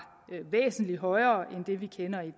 væsentlig højere end det vi kender i